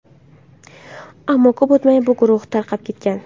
Ammo ko‘p o‘tmay bu guruh tarqab ketgan.